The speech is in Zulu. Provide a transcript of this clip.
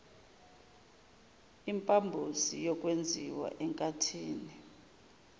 impambosi yokwenziwa enkathini